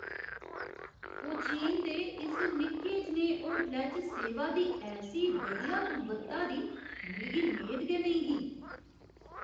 कोचीन दे इस निक्के जनेहे होटलै च सेवा दी ऐसी बधिया गुणवत्ता दी मिगी मेद गै नेईं ही ।